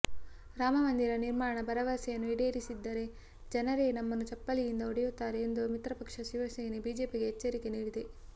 ರಾಮ ಮಂದಿರ ನಿರ್ಮಾಣ ಭರವಸೆಯನ್ನು ಈಡೇರಿಸಿದ್ದರೆ ಜನರೇ ನಮ್ಮನ್ನು ಚಪ್ಪಲಿಯಿಂದ ಹೊಡೆಯುತ್ತಾರೆ ಎಂದು ಮಿತ್ರಪಕ್ಷ ಶಿವಸೇನೆ ಬಿಜೆಪಿಗೆ ಎಚ್ಚರಿಕೆ ನೀಡಿದೆ